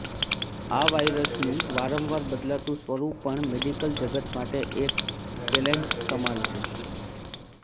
આ વાયરસનું વારંવાર બદલાતું સ્વરૂપ પણ મેડિકલ જગત માટે એક ચેલેન્જ સમાન છે